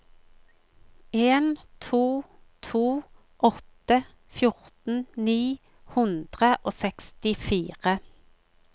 en to to åtte fjorten ni hundre og sekstifire